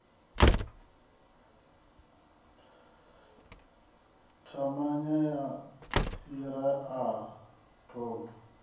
ṱavhanya u fhira a ḓamu